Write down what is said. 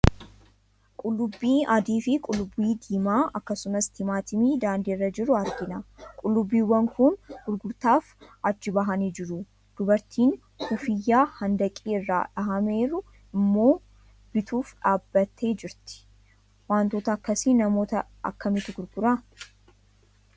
Qullubbii adii fi qullubbii diimaa akkasumas timaaatimii daandii irra jiru argina. Qullubbiiwwan kun gurgurtaaf achi bahanii jiru. Dubartiin kuffiyyaa handaqii irraa dhahameeru immoo bituuf dhaabbattee jirti. Wantoota akkasii namoota akkamiitu gurgura?